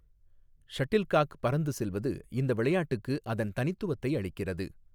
Shuttlecock பறந்து செல்வது இந்த விளையாட்டுக்கு அதன் தனித்துவத்தை அளிக்கிறது.